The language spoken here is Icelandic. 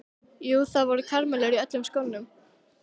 Jú, það voru karamellur í öllum skónum.